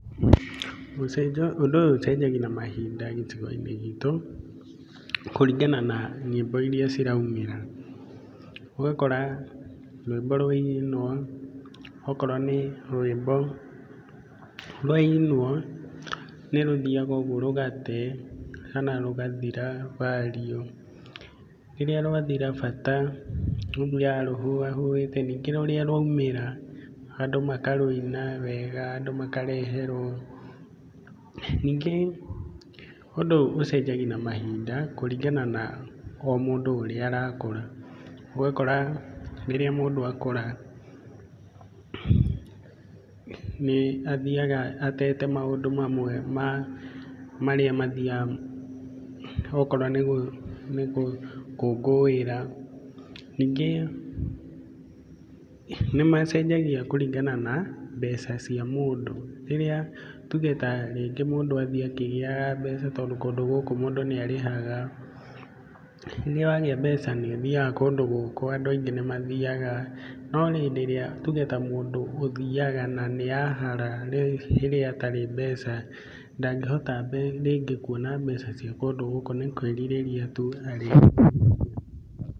Gũcenjia, ũndũ ũyũ ũcenjagia na mahinda gĩcigo-inĩ gitũ kũringana na nyĩmbo iria ciraumĩra, ũgakora rwĩmbo rwainwo ũgakora nĩ rwĩmbo rwainwo nĩ rũthiaga ũgũo rũgate, kana rũgathira value. Rĩrĩa rwathira bata rũthiaga rũhũa hũĩte ningĩ rũrĩa rwaumĩra andũ makarũina wega, andũ makareherwo. Ningĩ ũndũ ũyũ ũcenjagia na mahinda kũringana na o mũndũ ũrĩa arakũra, ũgakora rĩrĩa mũndũ akũra nĩ athiaga atete maũndũ mamwe marĩa mathiaga okorwo nĩ gũkũngũĩra. Ningĩ nĩ macenjagia kũringana na mbeca cia mũndũ. Rĩrĩa, tuge ta rĩngĩ mũndũ athiĩ akĩgĩaga mbeca tondũ kũndũ gũkũ mũndũ nĩ arĩhaga, nĩ wagĩa mbeca nĩ ũthiaga kũndũ gũkũ, andũ aingĩ nĩ mathiaga. No hĩndĩ ĩrĩa nĩ tuge ta mũndũ ũthiaga na nĩ ahara rĩu rĩrĩa atarĩ mbeca, ndangĩhota rĩngĩ kuona mbeca cia kũndũ gũkũ nĩ kwĩrirĩria tu arĩriragĩria...